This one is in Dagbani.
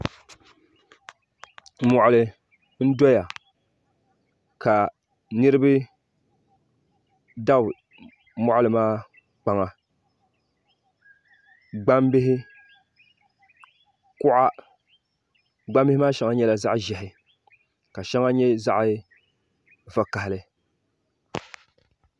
moɣili n soya ka niriba dabi moɣili maa kpaŋa gbabihi kuɣ' gbabihi maa nyɛŋa nyɛla zaɣ' ʒiɛhi ka shɛŋa